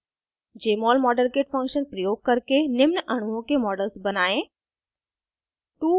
jmol modelkit function प्रयोग करके निम्न अणुओं के models बनायें: